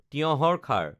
তিয়হৰ খাৰ